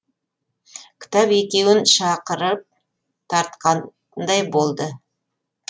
кітап екеуін шақырып тартқандай болды